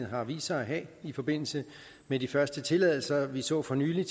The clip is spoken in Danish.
har vist sig at have i forbindelse med de første tilladelser vi så for nylig